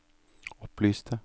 opplyste